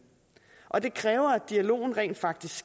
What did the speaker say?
og det kræver at dialogen rent faktisk